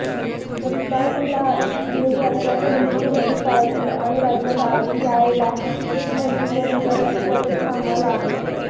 रिपाइंला दिलेली आश्वासनं मुख्यमंत्री पाळतील आणि राज्यात आरपीआयला एक मंत्रिपद मिळेल अशी अपेक्षा आम्हाला आहे